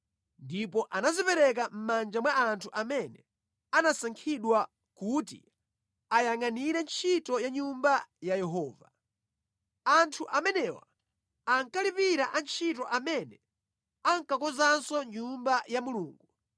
Ndipo anazipereka mʼmanja mwa anthu amene anasankhidwa kuti ayangʼanire ntchito ya Nyumba ya Yehova. Anthu amenewa ankalipira antchito amene ankakonzanso Nyumba ya Mulungu.